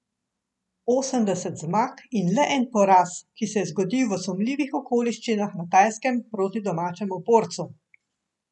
Osemdeset zmag in le en poraz, ki se je zgodil v sumljivih okoliščinah na Tajskem proti domačemu borcu.